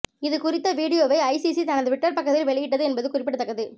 இது குறித்த வீடியோவை ஐசிசி தனது டுவிட்டர் பக்கத்தில் வெளியிட்டது என்பது குறிப்பிடத்தக்கது